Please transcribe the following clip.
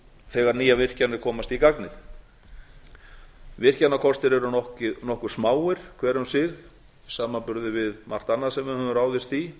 þegar nýjar virkjanir komast í gagnið virkjanakostir eru nokkuð smáir hver um sig í samanburði við margt annað sem við höfum ráðist í